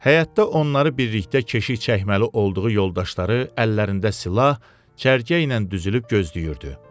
Həyətdə onları birlikdə keşik çəkməli olduğu yoldaşları əllərində silah, cərgə ilə düzülüb gözləyirdi.